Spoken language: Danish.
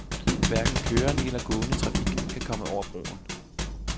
Hverken kørende eller gående trafik kan komme over broen.